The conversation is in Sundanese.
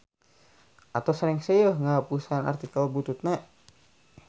Atos rengse yeuh ngahapusan artikel bututna.